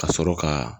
Ka sɔrɔ ka